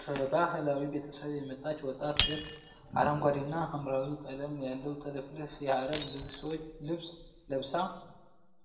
ከባህላዊ ቤተሰብ የመጣች ወጣት ሴት አረንጓዴና ሐምራዊ ቀለም ያለው ጥልፍልፍ የሃረር ልብስ ለብሳ፣